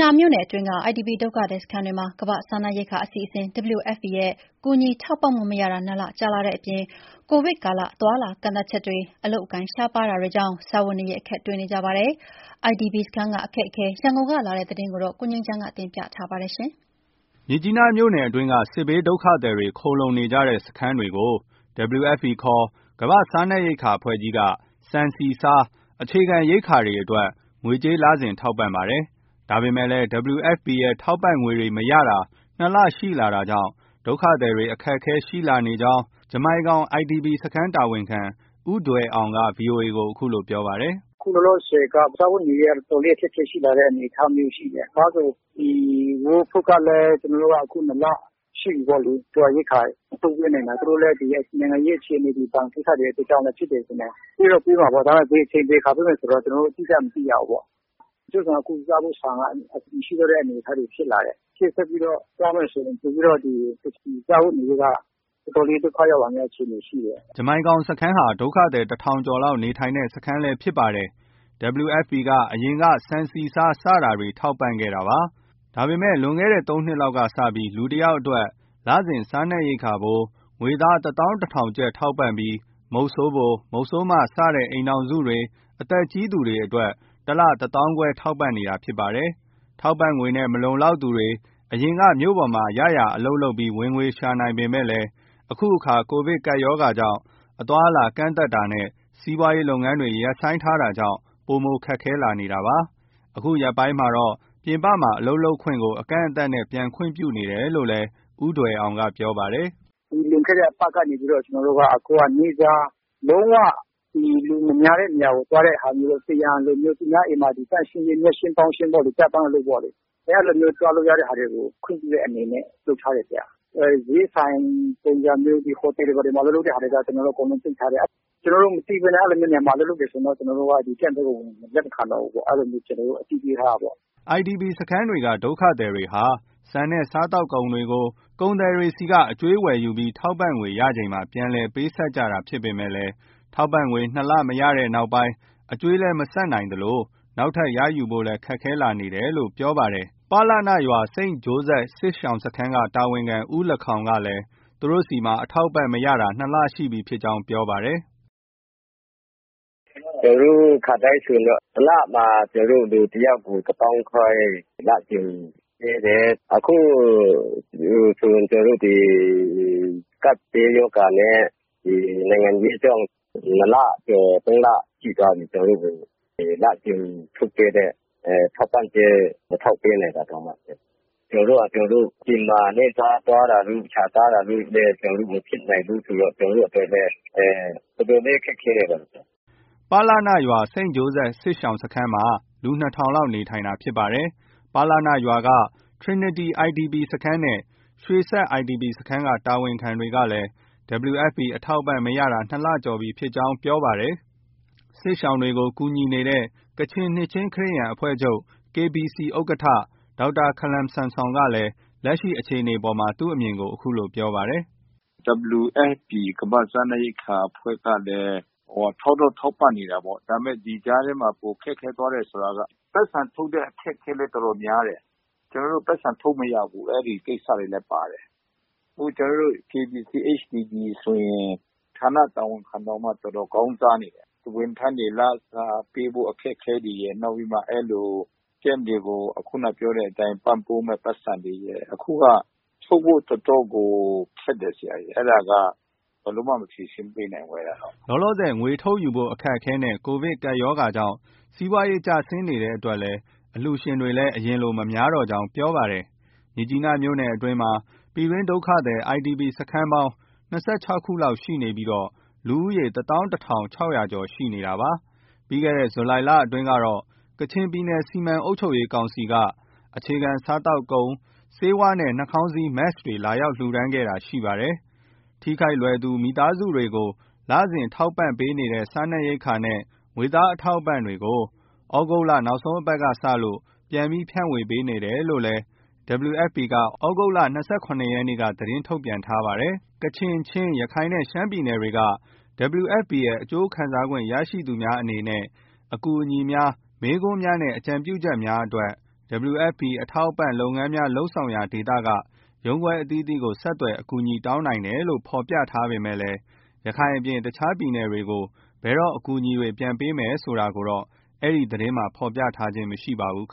နားမြို့နယ်အတွင်းက IDP ဒုက္ခသည်စခန်းတွေမှာ ကမ္ဘာ့စားနပ်ရိက္ခာအစီအစဉ် WFP ရဲ့ ကူညီထောက်ပံ့မှုမရတာ ၂ လကြာလာတဲ့အပြင် COVID ကာလ အသွားအလာကန့်သတ်ချက်တွေ၊ အလုပ်အကိုင်ရှားပါးတာတွေကြောင့် စားဝတ်နေရေး အခက်တွေ့နေကြပါတယ်။ IDP စခန်းကအခက်အခဲ ရန်ကုန်ကလာတဲ့ သတင်းကို ကိုငြိမ်းချမ်းက ပြောပြပါမယ်။ မြစ်ကြီးနားမြို့နယ်အတွင်းက စစ်ဘေးဒုက္ခသည်တွေ ခိုလှုံနေကြတဲ့စခန်းတွေကို WFP ခေါ် ကမ္ဘာ့စားနပ်ရိက္ခာအဖွဲ့က ဆန်၊ ဆီ၊ ဆား စတဲ့ အခြေခံရိက္ခာတွေအတွက် ငွေကြေး လစဉ်ထောက်ပံ့ပါတယ်။ ဒါပေမဲ့ WFP ရဲ့ ထောက်ပံ့မှုတွေမရတာ ၂ လ ရှိလာတာကြောင့် ဒုက္ခသည်တွေ အခက်အခဲရှိလာနေကြောင်း ဂျမိုင်ကောင် IDP စခန်းတာဝန်ခံ ဦးထွယ်အောင်က VOA ကို အခုလို ပြောပါတယ်။ “အခုလောလောဆည်က စားဝတ်နေရေးက အတော်လေး အခက်အခဲရှိလာတဲ့အနေအထားမျိုးရှိတယ်။ World Food ကလည်း ၂ လရှိပြီပေါ့လေ ရိက္ခာ မထုတ်ပေးနိုင်တာ။ သူတို့လည်း နိုင်ငံရေးအခြေအေနတွေ၊ ဘဏ်ကိစ္စတွေအတွက်လည်း ဖြစ်တယ်ထင်တယ်။ ပေးတော့ ပေးမှာပေါ့။ ဒါပေမဲ့ ဘယ်အချိန် ဘယ်အခါ ပေးမယ်ဆိုတာ ကျနော်တို့လည်း အတိအကျ မသိရဘူး။ တချို့ဆိုရင် စားဖို့ဆန်က မရှိတော့တဲ့ အနေအထားတွေ ရှိလာတယ်။ ရှေ့ဆက်ပြီးတော့ သွားမယ်ဆိုရင် ပိုပြီးတော့မှ စားဝတ်နေရေးက တော်တော်လေး ဒုက္ခရောက်လာမယ့် အခြေအနေရှိတယ်။ ” ဂျမိုင်ကောင်စခန်းဟာ ဒုက္ခသည် ၁,၀၀၀ ကျော်လောက် နေထိုင်နေတဲ့စခန်းဖြစ်ပါတယ်။ WFP က အရင်က ဆန်၊ဆီ၊ဆား စတာတွေ ထောက်ပံခဲ့တာပါ။ ဒါပေမဲ့ လွန်ခဲ့တဲ့ ၃ နှစ်လောက်က စပြီး လူတယောက်အတွက် လစဉ် စားနပ်ရိက္ခာဖိုး ငွေသား ၁၁,၀၀၀ ကျပ် ထောက်ပံ့ပြီး မုဆိုးဖို၊ မုဆိုးမ စတဲ့ အိမ်ထောင်စုတွေ၊ အသက်ကြီးသူတွေကို တလ ၁၅,၀၀၀ ကျပ် ထောက်ပံနေတာဖြစ်ပါတယ်။ ထောက်ပံ့ငွေနဲ့ မလုံလောက်သူတွေ အရင်က မြို့ပေါ်မှာ ရရာအလုပ်လုပ်ပြီး ဝင်ငွေရှာနိုင်ပေမဲ့ အခုအခါ COVID ကပ်ရောဂါကြောင့် အသွားအလာကန့်သတ်တာနဲ့ စီးပွားရေးလုပ်ငန်းတွေ ရပ်ဆိုင်းတာကြောင့် ပိုမို ခက်ခဲလာနေပါတယ်။ ဒီရက်ပိုင်းမှာတော့ ပြင်ပမှာ အလုပ်လုပ်ကိုင်ခွင့်ကို အကန့်အသတ်နဲ့ ပြန်ခွင့်ပြုနေတယ်လို့လည်း ဦးထွယ်အောင်က ပြောပါတယ်။ “လွန်ခဲ့တဲ့အပတ်ကနေပြီးတော့ ကျနော်တို့က နေ့စား လုံး၀ လူမများတဲ့နေရာကို သွားတဲ့ဟာမျိုးတော့၊ ပန်းရံလိုမျိုး၊ သူများအိမ်မှာ မြက်ရှင်းပေါင်းရှင်းပေါ့လေ ကျပန်းအလုပ်ပေါ့လေ အဲလိုမျိုး သွားလို့ရတဲ့ဟာတွေကို ခွင့်ပြုတဲ့အနေနဲ့ လုပ်ထားတယ်။ ဈေးဆိုင်ပုံစံမျိုး၊ ဒီဟိုတယ်တွေဘာတွေမှာ အလုပ်လုပ်တဲ့ဟာတွေက ပိတ်ထားတယ်။ ကျနော်တို့မသိဘဲနဲ့ အဲလိုမျိုးနေရာမှာ အလုပ်လုပ်တယ်ဆိုရင်တော့ ကျနော်တို့က Camp ထဲကို လက်မခံတော့ဘူးပေါ့။ အဲလိုမျိုးကျနော်တို့က အသိပေးထားတာပေါ့။ ” IDP စခန်းတွေက ဒုက္ခသည်တွေဟာ ဆန်နဲ့ စားသောက်ကုန်တွေကို ကုန်သည်တွေဆီကနေ အကြွေးဝယ်ယူပြီး ထောက်ပံ့ငွေရချိန်မှာ ပြန်လည်ပေးဆပ်ကြတာဖြစ်ပေမဲ့ ထောက်ပံ့ငွေ ၂ လ မရတဲ့နောက် အကြွေး မဆပ်နိုင်သလို နောက်ထပ်ရယူဖို့လည်း ခက်ခဲလာနေတယ်လို့ ပြောပါတယ်။ ပလနရွာ၊ စိန့်ဂျိုးဇက်စစ်ရှောင်စခန်းတာဝန်ခံ ဦးလခေါင်ကလည်း သူတို့ဆီမှာ အထောက်အပံ့မရတာ ၂ လ ရှိပြီဖြစ်ကြောင်း ပြောပါတယ်။ “ကျနော်တို့ ခါတိုင်းဆိုရင်တော့ တလမှာ လူတယောက်ကို တသောင်းခွဲ လစဉ်ပေးတယ်။ အခုဆိုရင် ကျနော်တို့ ဒီ ကပ်ဘေးရောဂါနဲ့ နိုင်ငံရေးကြောင့်၊ အခုဆို ၂လကျော် ၃လ ရှိသွားပြီ။ ကျနော်တို့ကို လစဉ် ထုတ်ပေးတဲ့ ထောက်ပံ့ကြေး မထုတ်ပေးနိုင်တာတောင်မှ ဆရာ။ ကျနော်တို့ဟာကျနော်တို့ အပြင်မှာ နေ့စားသွားတာတို့ ရှာစားတာတို့လည်း မဖြစ်နိုင်ဘူးဆိုတော့ ကျနော်တို့အတွက် တော်တော်လေး ခက်ခဲနေပါတယ်။” ပလနရွာက စိန့်ဂျိုးဇက်စစ်ရှောင်စခန်းမှာ လူ ၂,၀၀၀ လောက် နေထိုင်နေတာဖြစ်ပါတယ်။ ပလနရွာက Trinity IDP စခန်းနဲ့ ရွှေစက် IDP စခန်းက တာဝန်ခံတွေကလည်း WFP အထောက်အပံ့မရတာ ၂ လ ကျော်ပြီဖြစ်ကြောင်း ပြောပါတယ်။ စစ်ရှောင်တွေကို ကူညီနေတဲ့ ကချင်နှစ်ခြင်းခရစ်ယာန်အဖွဲ့ချုပ် KBC ဥက္ကဋ္ဌ ဒေါက်တာ Khalam Samson ကလက်ရှိအခြေအနေအပေါ်မှာ သူ့အမြင်ကို အခုလို ပြောပါတယ်။ “WFP ကမ္ဘာ့စားနပ်ရိက္ခာအဖွဲ့ကလည်း ထောက်တော့ ထောက်ပံ့နေတာပေါ့။ ဒီကြားထဲမှာ ပို ခက်ခဲသွားတယ်ဆိုတာက ပိုက်ဆံထုတ်တဲ့ အခက်အခဲလည်း တော်တော်များတယ်။ ကျနော်တို့ ပိုက်ဆံထုတ်မရဘူး။ အဲဒီကိစ္စတွေလည်း ပါတယ်။ ကျနော်တို့ KBC – HDD ဆိုရင် ဌာနတာဝန်ခံတောင်မှ တော်တော် ခေါင်းစားနေတယ်။ ဝန်ထမ်းတွေ လစာပေးဖို့ အခက်အခဲတွေရယ်၊ နောက်ပြီးမှ အဲလို Campတွေကို ခုနက ပြောတဲ့ ပံ့ပိုးမယ့် ပိုက်ဆံတွေရယ်။ အခုက ထုတ်ဖို့ တော်တော်ကို ခက်တယ် ဆရာရေ ။ အဲဒါက ဘယ်လိုမှ ဖြေရှင်းမပေးနိုင်ဘူး အဲဒါတော့။” လောလောဆည် ငွေထုတ်ယူဖို့ အခက်အခဲနဲ့ COVID ကပ်ရောဂါကြောင့် စီးပွားရေးကျဆင်းနေတဲ့အတွက် အလှုရှင်တွေလည်း အရင်လို မများတော့ကြောင်း ပြောပါတယ်။ မြစ်ကြီးနားမြို့နယ်အတွင်းမှာ ပြည်တွင်းဒုက္ခသည် IDP စခန်းပေါင်း ၂၆ ခုလောက်ရှိပြီး လူဦးရေ ၁၁,၆၀၀ ကျော် ရှိနေတာဖြစ်ပါတယ်။ ပြီးခဲ့တဲ့ ဇူလိုင်လအတွင်းကတော့ ကချင်ပြည်နယ် စီမံအုပ်ချုပ်ရေးကောင်စီက အခြေခံစားသောက်ကုန်၊ ဆေးဝါးနဲ့ နှာခေါင်းစည်း Mask တွေ လှူဒါန်းတာရှိခဲ့ပါတယ်။ ထိခိုက်လွယ်သူ မိသားစုတွေကို လစဉ် ကူညီထောက်ပံ့ပေးနေသည့် စားနပ်ရိက္ခာနဲ့ ငွေသားအထောက်အပံ့တွေကို သြဂုတ်လ နောက်ဆုံးပတ်ကစလို့ ပြန် ဖြန့်ဝေပေးနေတယ်လို့ WFP က သြဂုတ်လ ၂၇ ရက်နေ့က သတင်းထုတ်ပြန်ပါတယ်။ ကချင်၊ ချင်း၊ ရခိုင်နှင့် ရှမ်းပြည်နယ်တို့မှ WFP ၏ အကျိုးခံစားခွင့်ရရှိသူများသူများအနေနဲ့ အကူအညီများ၊ မေးခွန်းများနှင့် အကြုံပြုချက်များအတွက် WFP အထောက်အပံ့လုပ်ငန်းများ လုပ်ဆောင်ရာဒေသက ရုံးခွဲအသီးအသီးကို ဆက်သွယ် အကူအညီတောင်းနိုင်တယ်လို့ ပြောထားပေမဲ့ ရခိုင်အပြင် တခြားပြည်နယ်တွေကို ဘယ်တော့ အကူအညီတွေပြန်ပေးမယ်ဆိုတာကိုတော့ အဲဒီသတင်းမှာ ဖော်ပြထားခြင်း မရှိပါဘူး။